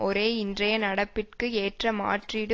ஒரே இன்றைய நடப்பிற்கு ஏற்ற மாற்றீடு